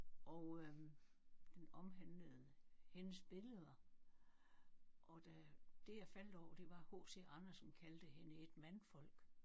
Og øh den omhandlede hendes billeder og da det jeg faldt over det var H C Andersen kaldte hende et mandfolk